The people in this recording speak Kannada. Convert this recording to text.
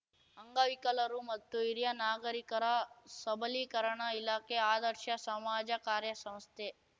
ಅಂಗವಿಕಲರು ಮತ್ತು ಹಿರಿಯ ನಾಗರಿಕರ ಸಬಲೀಕರಣ ಇಲಾಖೆ ಆದರ್ಶ ಸಮಾಜ ಕಾರ್ಯ ಸಂಸ್ಥೆ